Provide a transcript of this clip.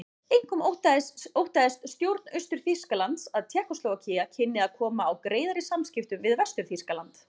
Einkum óttaðist stjórn Austur-Þýskalands að Tékkóslóvakía kynni að koma á greiðari samskiptum við Vestur-Þýskaland.